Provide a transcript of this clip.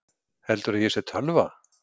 Heldurðu að ég sé tölva?